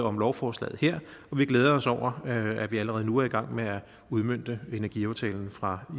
om lovforslaget her og vi glæder os over at vi allerede nu er i gang med at udmønte energiaftalen fra